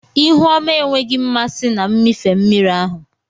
Ihu ọma enweghị mmasị na mmịfe mmiri ahụ.